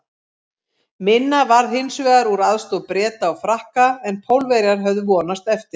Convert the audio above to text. Minna varð hins vegar úr aðstoð Breta og Frakka en Pólverjar höfðu vonast eftir.